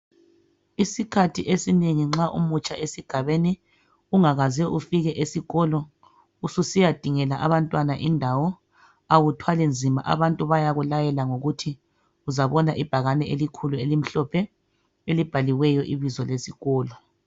Isikhathi esinengi nxa umutsha esigabeni ungakaze ufike esikolo ususiyadingela abantwana indawo awuthwali nzima abantu bayakulayela ngokuthi uzabona ibhakane elikhulu elimhlophe elibhaliweyo ibizo lesikolo